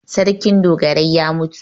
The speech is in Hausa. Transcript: Sarkin dogarai ya mutu.